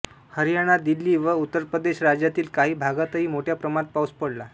हरियाणा दिल्ली व उत्तर प्रदेश राज्यांतील काही भागातही मोठ्या प्रमाणात पाऊस पडला